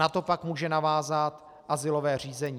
Na to pak může navázat azylové řízení.